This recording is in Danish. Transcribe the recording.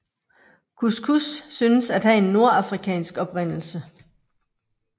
Couscous synes at have en nordafrikansk oprindelse